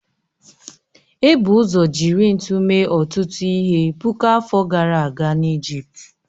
Ebu ụzọ jiri ntu mee ọtụtụ ihe puku afọ gara aga n'Ijipt